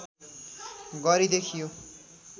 गरी देखियो